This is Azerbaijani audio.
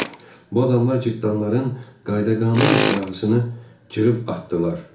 Bu adamlar cırtdanların qayda-qanun siyahısını cırıb atdılar.